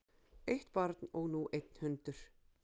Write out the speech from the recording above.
Eitt barn og nú einn hundur